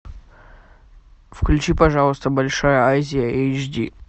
включи пожалуйста большая азия эйч ди